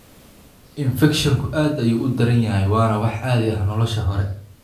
Infekshanku aad ayuu u daran yahay waana wax caadi ah nolosha hore.